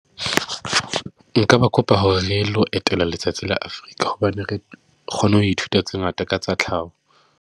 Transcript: Nka ba kopa hore re lo etela letsatsi la Africa, hobane re kgone ho ithuta tse ngata ka tsa tlhaho.